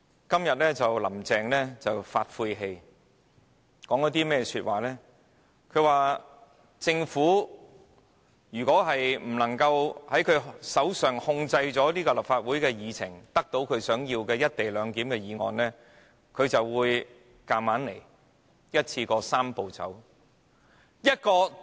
今天，"林鄭"說了些晦氣話，表示如果她無法令政府控制立法會的議程，得到她想要的"一地兩檢"議案，她便會硬來，一口氣完成"三步走"。